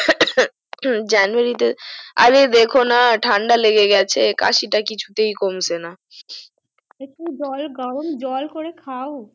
january আরে দেখোনা ঠান্ডা লেগে গেছে কিছুতেই একটু জল গরম জল করে খাও